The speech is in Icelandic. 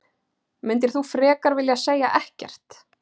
Myndir þú frekar vilja segja ekkert?